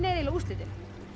eiginlega úrslitin